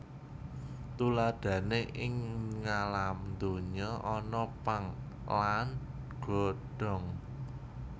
Tuladhané ing ngalam donya ana pang lan godhong